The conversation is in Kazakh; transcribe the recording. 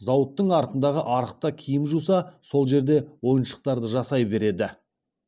зауыттың артындағы арықта киім жуса сол жерде ойыншықтарды жасай береді